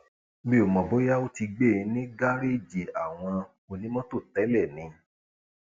mi ò mọ bóyá ó ti gbé ní gàréèjì àwọn onímọtò tẹlẹ ni